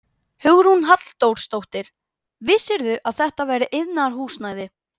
Hugrún Halldórsdóttir: Vissirðu að þetta væri iðnaðarhúsnæði?